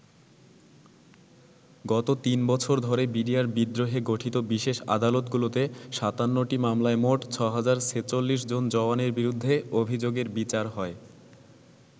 গত তিন বছর ধরে বিডিআর বিদ্রোহে গঠিত বিশেষ আদালতগুলোতে ৫৭টি মামলায় মোট ৬০৪৬জন জওয়ানের বিরুদ্ধে অভিযোগের বিচার হয়।